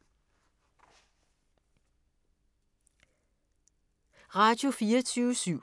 Radio24syv